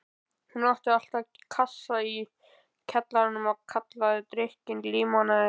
Hún átti alltaf kassa í kjallaranum og kallaði drykkinn límonaði.